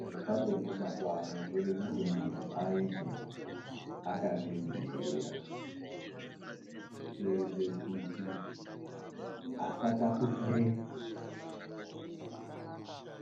Zvepabonde mazuva ano zvode kuite muntu aite akazvidzirira. Kuedze kuti asatapukire